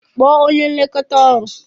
Kpọọ onye nlekọta ọrụ!